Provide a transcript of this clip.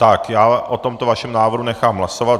Tak já o tomto vašem návrhu nechám hlasovat.